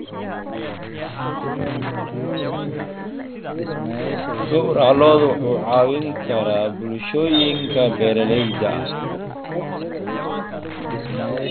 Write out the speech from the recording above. Gowraca lo'du wuxuu caawin karaa bulshooyinka beeralayda ah.